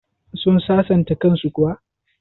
Sun sasanta kan su kuwa?